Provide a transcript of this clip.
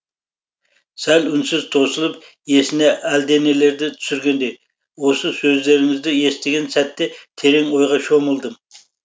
сәл үнсіз тосылып есіне әлдеңелерді түсіргендей осы сөздеріңізді естіген сәтте терең ойға шомылдым